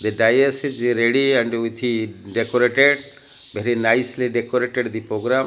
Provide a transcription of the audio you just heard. the dice is ready and with decorated very nicely decorated the program.